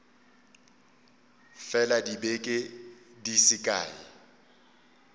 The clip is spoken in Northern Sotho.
fela dibeke di se kae